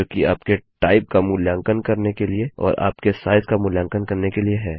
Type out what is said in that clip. जो कि आपके टाइप का मूल्यांकन करने के लिए और आपके साइज का मूल्यांकन करने के लिए है